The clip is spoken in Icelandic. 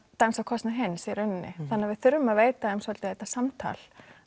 dansar á kostnað hins í rauninni þannig að við þurfum að veita þeim svolítið þetta samtal